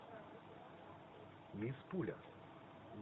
мисс пуля